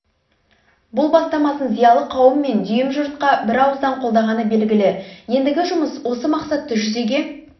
бұл бастамасын зиялы қауым мен дүйім жұрт бірауыздан қолдағаны белгілі ендігі жұмыс осы мақсатты жүзеге